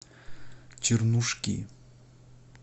чернушки